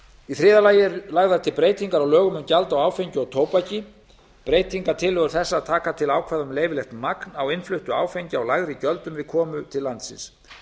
í þriðja lagi eru lagðar til breytingar á lögum um gjald á áfengi og tóbak breytingartillögur þessar taka til ákvæða um leyfilegt magn á innfluttu áfengi á lægri gjöldum við komu til landsins